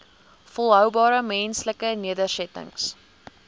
volhoubare menslike nedersettings